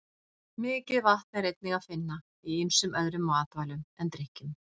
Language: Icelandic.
Mikið vatn er einnig að finna í ýmsum öðrum matvælum en drykkjum.